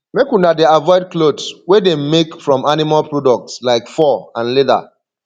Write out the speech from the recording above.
make una dey avoid clothes wey dem make from animal products like fur and leather